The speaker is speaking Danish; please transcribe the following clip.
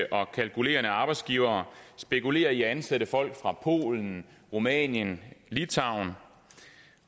og kalkulerende arbejdsgivere spekulerer i at ansætte folk fra polen rumænien og litauen